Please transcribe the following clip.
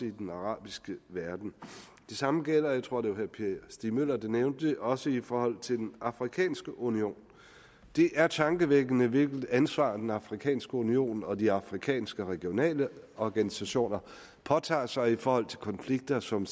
i den arabiske verden det samme gælder jeg tror det var herre per stig møller der nævnte det også i forhold til den afrikanske union det er tankevækkende hvilket ansvar den afrikanske union og de afrikanske regionale organisationer påtager sig i forhold til konflikter som